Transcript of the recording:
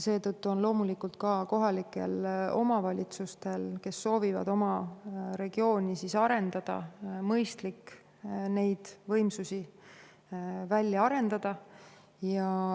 Seetõttu on loomulikult ka kohalikel omavalitsustel, kes soovivad oma regiooni arendada, mõistlik seal võimsusi välja arendada.